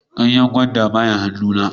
Ganyen gwandan ba ya han'nu na.